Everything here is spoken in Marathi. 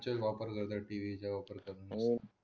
जे वापरण्यासाठी इथे